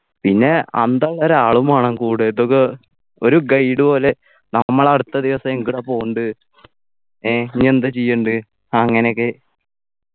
പിന്നെ അന്തള്ള ഒരാളും വേണം കൂടെ ഇതൊക്കെ ഒരു guide പോലെ നമ്മൾ അടുത്ത ദിവസം എങ്ങട പോണ്ടെ ഏർ ഇനി എന്ത ചെയ്യേണ്ടത് അങ്ങനെയൊക്കെ